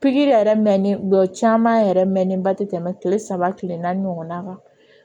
Pikiri yɛrɛ mɛnnen jɔ caman yɛrɛ mɛnnen ba tɛ tɛmɛ kile saba kile naani ɲɔgɔnna kan